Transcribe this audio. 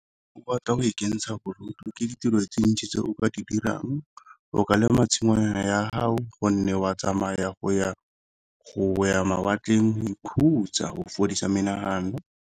Ke batla go ikentsha bodutu ke ditiro tse ntsi tse o ka di dirang o ka lema tshingwana ya hao gonne wa tsamaya go ya mawatleng go ikhutsa go fodisa menagano.